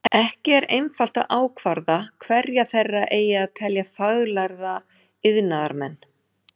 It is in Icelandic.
Ekki er einfalt að ákvarða hverja þeirra eigi að telja faglærða iðnaðarmenn.